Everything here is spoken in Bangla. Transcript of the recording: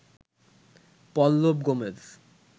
পল্লব গোমেজ